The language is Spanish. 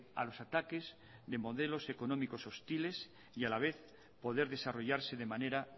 a los ataques de modelos económicos hostiles y a la vez poder desarrollarse de manera